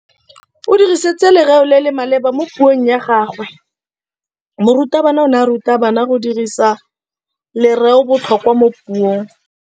O dirisitse lerêo le le maleba mo puông ya gagwe. Morutabana o ne a ruta baithuti go dirisa lêrêôbotlhôkwa mo puong.